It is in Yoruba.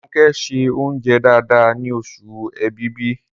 Ronke ṣe oúnjẹ dáadáa ní oṣù èbìbí